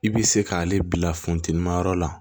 I bɛ se k'ale bila funteni ma yɔrɔ la